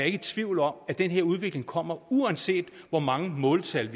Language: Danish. i tvivl om at den her udvikling kommer uanset hvor mange måltal